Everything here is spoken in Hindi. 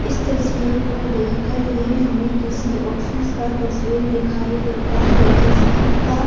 इस तस्वीर को देखकर ये हमें किसी ऑफिस का तस्वीर दिखाई देता है जिसका--